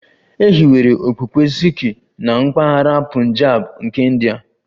E hiwere okpukpe Sikh na mpaghara Punjab nke India